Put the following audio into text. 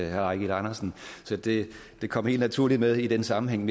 herre eigil andersen så det det kom helt naturligt med i den sammenhæng